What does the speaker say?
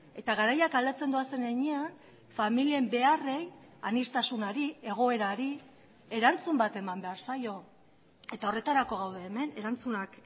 eta garaiak aldatzen doazen heinean familien beharrei aniztasunari egoerari erantzun bat eman behar zaio eta horretarako gaude hemen erantzunak